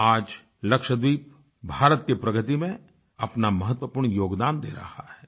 आज लक्षद्वीप भारत की प्रगति में अपना महत्वपूर्ण योगदान दे रहा है